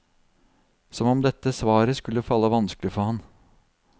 Som om dette svaret skulle falle vanskelig for ham.